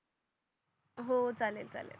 हो चालेल चालेल